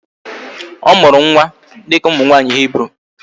Ọ mụrụ nwa dịka ụmụ nwaanyị Hibru